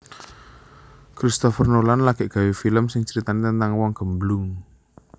Christopher Nolan lagek gawe film sing critane tentang wong gemblung